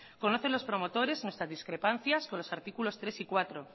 conocen lo promotores nuestra discrepancia con los artículos tres y cuatro